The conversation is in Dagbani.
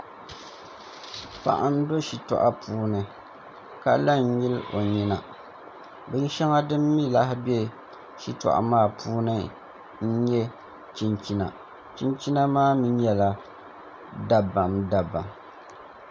Paɣa n bɛ shitoɣu puuni ka la n nyili o nyina bin shɛŋa din mii lahi bɛ shitoɣu maa puuni n nyɛ chinchina chinchina maa mii nyɛla dabam dabam